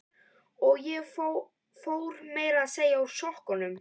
Og ég fór meira að segja úr sokkunum.